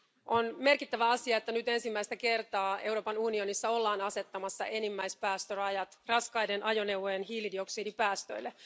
On merkittävä asia, että nyt ensimmäistä kertaa Euroopan unionissa ollaan asettamassa enimmäispäästörajat raskaiden ajoneuvojen hiilidioksidipäästöille.